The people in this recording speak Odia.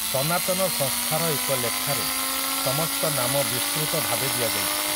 ସନାତନ ସଂସ୍ଥାର ଏକ ଲେଖାରେ ସମସ୍ତ ନାମ ବିସ୍ତୃତ ଭାବେ ଦିଆଯାଇଛି ।